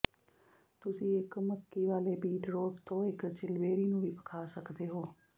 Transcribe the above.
ਤੁਸੀਂ ਇੱਕ ਮੱਕੀ ਵਾਲੇ ਬੀਟਰੋਟ ਤੋਂ ਇੱਕ ਚਿਲਬੇਰੀ ਨੂੰ ਵੀ ਪਕਾ ਸਕਦੇ ਹੋ